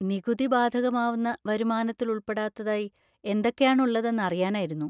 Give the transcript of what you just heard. നികുതി ബാധകമാവുന്ന വരുമാനത്തിൽ ഉൾപ്പെടാത്തതായി എന്തൊക്കെ ആണ് ഉള്ളതെന്ന് അറിയാനായിരുന്നു.